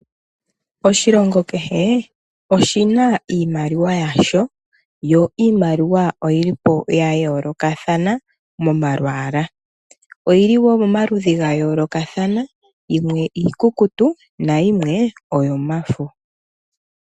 Oshilongo kehe oshina iimaliwa yasho yo iimaliwa oyilipo ya yoolokathana momalwaala. Oyili woo momaludhi ga yoolokathana yimwe iikukutu na yimwe oyo mafo.